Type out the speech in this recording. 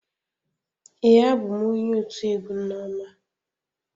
Ee, abụ m onye otu egwu nneoma.